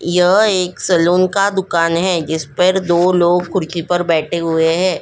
यह एक सलून का दुकान है जिस पर दो लोग खुर्ची पर बैठे हुए हैं ।